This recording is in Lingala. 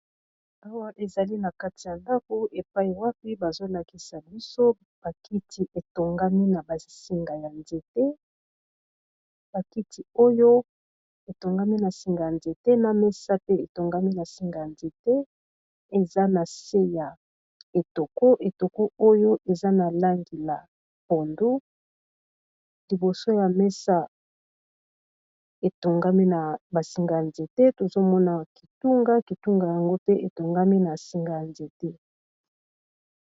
Awa ezali na kati ya ndako epai wapi bazolakisa biso ba kiti oyo etongami na singa ya nzete na mesa pe etongami na singa ya nzete eza na se ya etoko, etoko oyo eza na langi la pondu liboso ya mesa etongami na ba singa ya nzete tozo mona kitunga kitunga yango pe etongami na singa ya nzete.